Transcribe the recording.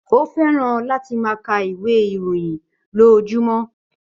Ó fẹ́ràn láti máa ka ìwé ìròyìn lójoojúmọ́